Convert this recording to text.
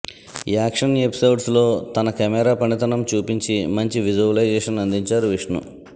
action ఎపిసోడ్స్లో తన camera పనితనం చూపించి మంచి విజువలైజేషన్ అందించారు విష్ణు